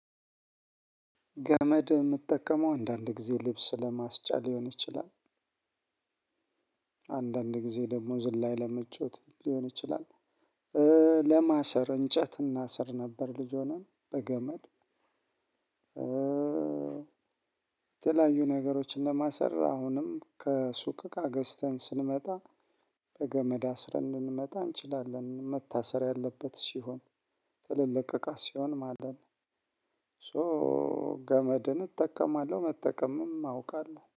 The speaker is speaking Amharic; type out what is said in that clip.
ገመድ የምጠቀመው አንዳንድ ጊዜ ልብስ ለማስጫ ሊሆን ይችላል። አንዳንድ ጊዜ ደግሞ ዝላይ ለመጫወት ሊሆን ይችላል። ለማሰር እንጨት እናሰር ነበር ልጅ ሆነን በገመድ። የተለያዩ ነገሮችን ለማሰር አሁንም ከሱቅ እቃ ገዝተን ስንመጣ በገመድ አስረን ልንመጣ እንችላለን መታሰር ያለበት ሲሆን ትልልቅ እቃ ሲሆን ማለት ነው። ሶ ገመድን እጠቀማለሁ መጠቀምም አውቃለሁ